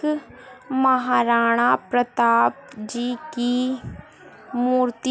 महाराणा प्रताप जी की मूर्ति --